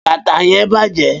bata yen baje